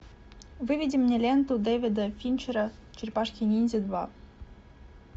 выведи мне ленту дэвида финчера черепашки ниндзя два